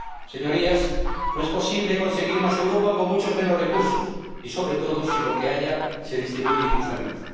Señorías, no es posible conseguir más Europa con muchos menos recursos, sobre todo, si lo que hay, se distribuye injustamente.